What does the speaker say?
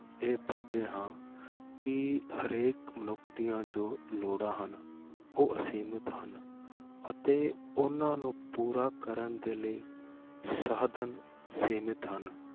ਇਹ ਪੜ੍ਹਦੇ ਹਾਂ ਕਿ ਹਰੇਕ ਮਨੁੱਖ ਦੀਆਂ ਜੋ ਲੋੜਾਂ ਹਨ ਉਹ ਅਸੀਮਿਤ ਹਨ, ਅਤੇ ਉਹਨਾਂ ਨੂੰ ਪੂਰਾ ਕਰਨ ਦੇ ਲਈ ਸਾਧਨ ਸੀਮਿਤ ਹਨ,